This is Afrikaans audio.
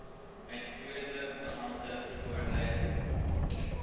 uitvoerende beampte voorlê